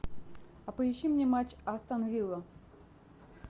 а поищи мне матч астон вилла